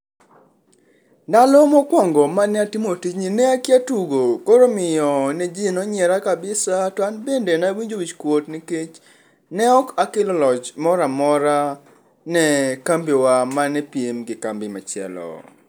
Ndalo mokwongo mane atimo tijni ne akia tugo koro omiyo ne ji ne onyiera kabisa to an bende nawinjo wichkuot nikech ne ok akelo loch moro amora nekambiwa mane piem gi kambi machielo.